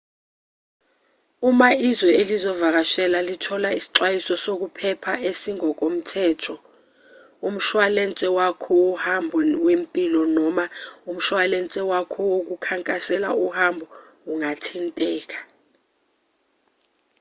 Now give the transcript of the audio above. uma izwe ozolivakashela lithola izixwayiso zokuphepha ezingokomthetho umshwalense wakho wohambo wempilo noma umshwalense wakho wokukhansela uhambo ungathinteka